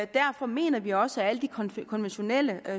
derfor mener vi også at alle de konventionelle